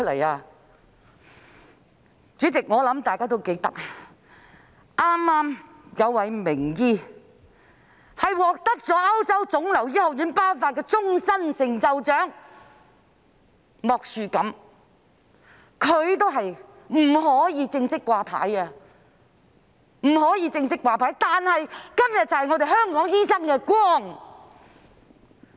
代理主席，我想大家都記得，早前有位名醫獲得歐洲腫瘤學會頒發"終身成就獎"，他便是莫樹錦醫生，他也不能正式"掛牌"，但他是今天香港醫生之光。